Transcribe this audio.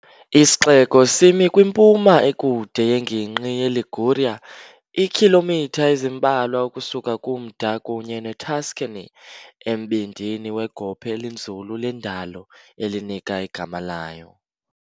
Isixeko simi kwimpuma ekude yengingqi yeLiguria, iikhilomitha ezimbalwa ukusuka kumda kunye neTuscany, embindini wegophe elinzulu lendalo elinika igama layo.